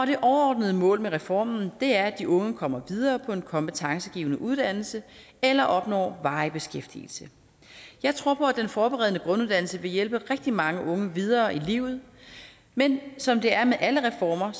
det overordnede mål med reformen er at de unge kommer videre på en kompetencegivende uddannelse eller opnår varig beskæftigelse jeg tror på at den forberedende grunduddannelse vil hjælpe rigtig mange unge videre i livet men som det er med alle reformer